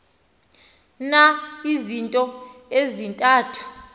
na izinto ezintathu